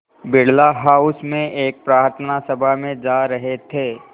Birla house में एक प्रार्थना सभा में जा रहे थे